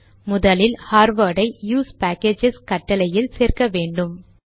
முதலில் ஹார்வார்ட் ஐ USE packages கட்டளையில் சேர்க்க வேண்டும்